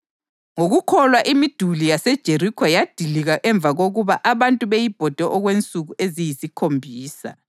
Ngokukholwa imiduli yaseJerikho yadilika emva kokuba abantu beyibhode okwensuku eziyisikhombisa.